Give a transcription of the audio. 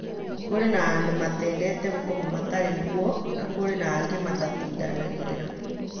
Kũrĩ na andũ matende Gũkoma matarĩ ngũo na no kũrĩ angĩ matatindanagĩra," Dagĩtarĩ Mwangi